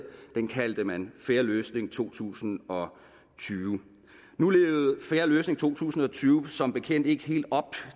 den kaldte man fair løsning to tusind og tyve nu levede fair løsning to tusind og tyve som bekendt ikke helt op